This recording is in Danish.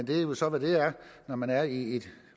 det er jo så hvad det er når man er i et